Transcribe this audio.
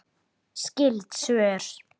Skyld svör